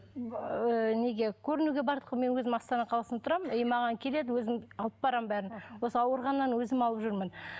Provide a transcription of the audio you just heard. ыыы неге көрінуге бардық мен өзім астана қаласында тұрамын и маған келеді өзім алып барамын бәрін осы ауырғаннан өзім алып жүрмін